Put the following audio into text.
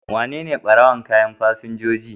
Wanene ɓarawon kayan fasinjoji?